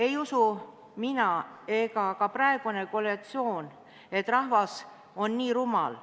Ei usu mina ega ka praegune koalitsioon, et rahvas on nii rumal.